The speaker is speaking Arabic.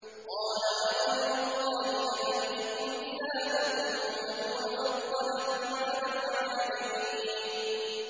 قَالَ أَغَيْرَ اللَّهِ أَبْغِيكُمْ إِلَٰهًا وَهُوَ فَضَّلَكُمْ عَلَى الْعَالَمِينَ